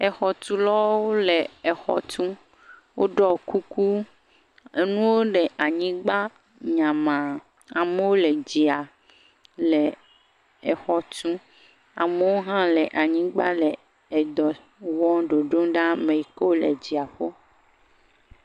Exɔ tulɔwo le exɔ tum, oɖɔ kuku, enuwo le anyigba nyama, amowo le dzia le exɔ tum, amowo hã le anyigba le edɔ wɔ ɖoɖoŋ ɖe ameyiko le dziaƒo.